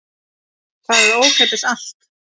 Það er ókeypis allt.